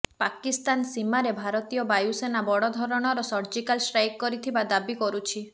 ପାକିସ୍ତାନ ସୀମାରେ ଭାରତୀୟ ବାୟୁସେନା ବଡ଼ ଧରଣର ସର୍ଜିକାଲ ଷ୍ଟ୍ରାଇକ କରିଥିବା ଦାବି କରୁଛି